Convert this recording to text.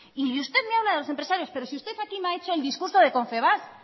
y usted me habla de los empresarios pero si usted aquí me ha hecho el discurso de confebask